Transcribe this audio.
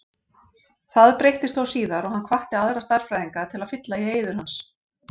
Það breyttist þó síðar og hann hvatti aðra stærðfræðinga til að fylla í eyður hans.